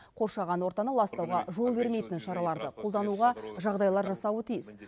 қоршаған ортаны ластауға жол бермейтін шараларды қолдануға жағдайлар жасауы тиіс